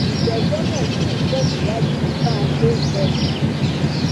ìgbẹjọ náà ṣì ń tẹsíwájú di bá a ṣe ń sọ yìí